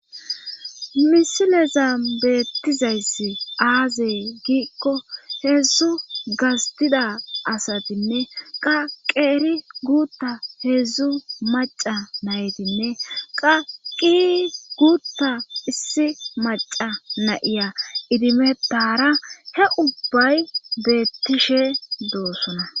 misileza beettizayssi aazey giikko heedzdzu gastida asatinne qaqeeri guutta heedzdzu maca naytinne qaqi guutta issi maca nayiya idimettara he ubbay beettishe doossona